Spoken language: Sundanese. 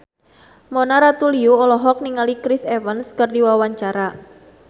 Mona Ratuliu olohok ningali Chris Evans keur diwawancara